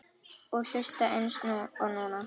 Og hlusta eins og núna.